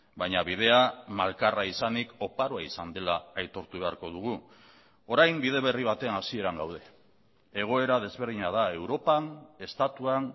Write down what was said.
baina bidea malkarra izanik oparoa izan dela aitortu beharko dugu orain bide berri baten hasieran gaude egoera desberdina da europan estatuan